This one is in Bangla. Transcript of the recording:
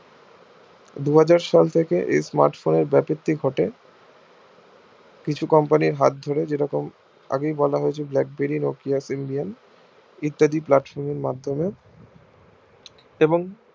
দু হাজার সাল থেকে এই smartphone এর ব্যাপার টি ঘটে কিছু company র হাত ধরে যেরকম আগেই বলা হৈছে bhackberry nokiea ইত্যাদি platform এর মাধ্যমে এবং